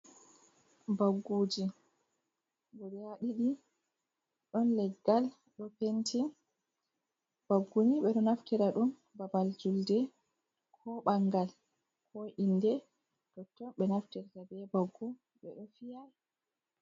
Bagguji guda ɗiɗi ɗon leggal ɗo penti, bagguni ɓe ɗo naftira ɗum babal julde ko ɓangal ko inde, totton ɓe naftirta be baggu ɓe ɗo fiya.